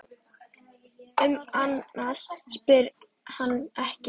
Um annað spyr hann ekki.